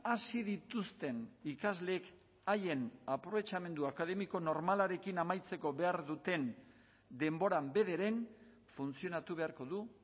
hasi dituzten ikasleek haien aprobetxamendua akademiko normalarekin amaitzeko behar duten denboran bederen funtzionatu beharko du